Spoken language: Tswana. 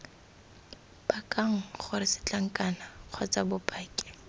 pakang gore setlankana kgotsa bopaki